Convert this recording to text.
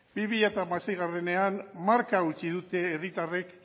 bi mila hamaseiean marka hautsi dute herritarrei